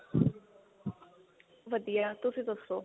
ਵਧੀਆ ਤੁਸੀਂ ਦੱਸੋ